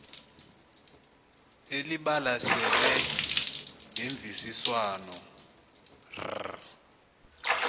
elibalasele ngemvisiswano r